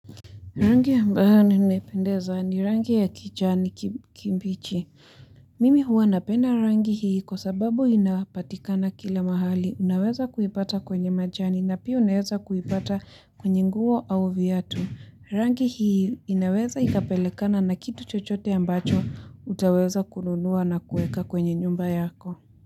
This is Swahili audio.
Rangi ambayo ninaipendeza ni rangi ya kijani kimbi kimbichi. Mimi huwa napenda rangi hii kwa sababu inapatikana kila mahali. Unaweza kuipata kwenye majani na pia unaweza kuipata kwenye nguo au viatu. Rangi hii inaweza ikapelekana na kitu chochote ambacho utaweza kununuwa na kueka kwenye nyumba yako.